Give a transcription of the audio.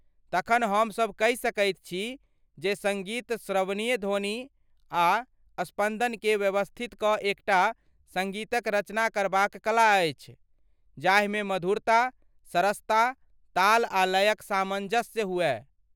तखन हमसभ कहि सकैत छी जे सङ्गीत श्रवणीय ध्वनि आ स्पन्दनकेँ व्यवस्थित कऽ एक टा सङ्गीतक रचना करबाक कला अछि जाहिमे मधुरता, सरसता, ताल आ लयक सामन्जस्य हुअय।